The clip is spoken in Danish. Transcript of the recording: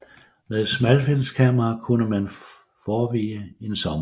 Med et smalfilmskamera kunne man forevige en sommer